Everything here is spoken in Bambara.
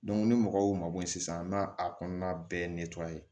ni mɔgɔw ma bɔ sisan an m'a a kɔnɔna bɛɛ